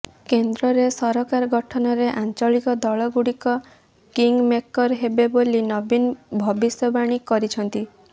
କେନ୍ଦ୍ରରେ ସରକାର ଗଠନରେ ଆଞ୍ଚଳିକ ଦଳଗୁଡ଼ିକ କିଙ୍ଗ ମେକର୍ ହେବେ ବୋଲି ନବୀନ ଭବିଷ୍ୟବାଣୀ କରିଛନ୍ତି